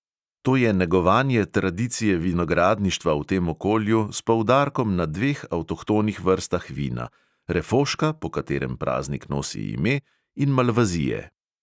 To je negovanje tradicije vinogradništva v tem okolju s poudarkom na dveh avtohtonih vrstah vina: refoška, po katerem praznik nosi ime, in malvazije.